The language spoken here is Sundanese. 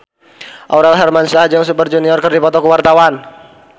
Aurel Hermansyah jeung Super Junior keur dipoto ku wartawan